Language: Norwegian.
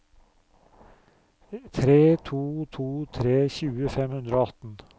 tre to to tre tjue fem hundre og atten